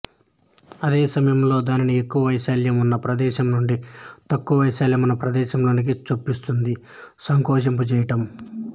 అదే సమయంలో దానిని ఎక్కువ వైశాల్యం ఉన్న ప్రదేశం నుండి తక్కువ వైశాల్యమున్న ప్రదేశంలోకి చొప్పిస్తుంది సంకోచింపజేయడం